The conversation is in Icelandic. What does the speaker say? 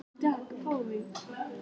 En sjáum til.